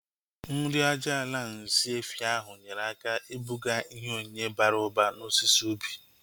Nri aja ala nsị efi ahu nyere aka ibuga ihe onyinye bara ụba na osisi ubi